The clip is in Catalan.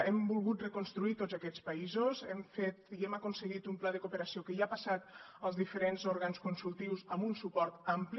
hem volgut reconstruir tots aquests països hem fet i hem aconseguit un pla de cooperació que ja ha passat als diferents òrgans consultius amb un suport ampli